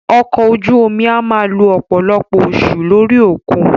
Ọkọ̀ ojú omi a máà lo ọ̀pọ̀lọpọ̀ oṣù lórí òkun.